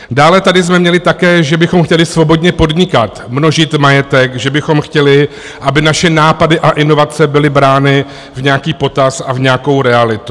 Dále jsme tady měli také, že bychom chtěli svobodně podnikat, množit majetek, že bychom chtěli, aby naše nápady a inovace byly brány v nějaký potaz a v nějakou realitu.